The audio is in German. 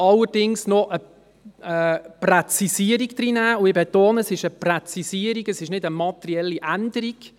Wir möchten allerdings noch eine Präzisierung hineinnehmen, und ich betone, es ist eine Präzisierung, nicht eine materielle Änderung.